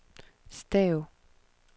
stav